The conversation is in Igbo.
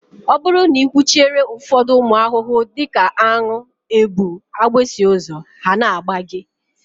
Ọ bụrụ na ị kwụchiere ụfọdụ ụmụ ahụhụ dị ka aṅụ, ebu, agbịsị ụzọ, ha na-agba gị